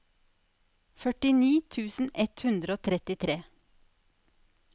førtini tusen ett hundre og trettitre